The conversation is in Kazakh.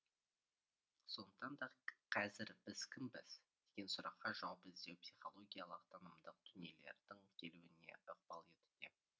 сондықтан да қазір біз кімбіз деген сұраққа жауап іздеу психологиялық танымдық дүниелердің келуіне ықпал етуде